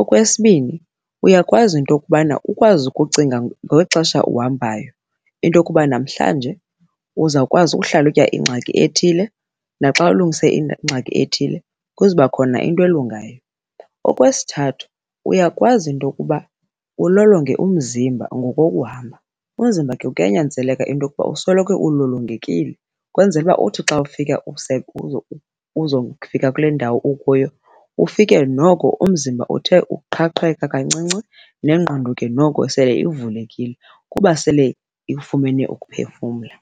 Okwesibini, uyakwazi into yokubana ukwazi ukucinga ngeli xesha uhambayo into yokuba namhlanje uzawukwazi uhlalutya ingxaki ethile naxa ulungise ingxaki ethile kuzokuba khona into elungayo. Okwesithathu, uyakwazi into yokuba ulolonge umzimba ngokokuhamba, umzimba ke kuyanyanzeleka into yokuba usoloko ulolongekile ukwenzele uba uthi xa ufika uzokufika kule ndawo ukuyo ufike noko umzimba uthe uqhaqheka kancinci nengqondo ke noko sele ivulekile kuba sele ifumene ukuphefumla.